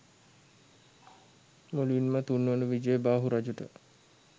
මුලින්ම තුන්වන විජයබාහු රජුට